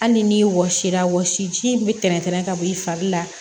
Hali ni wɔsi la wɔsi ji min bɛ tɛntɛn ka bɔ i fari la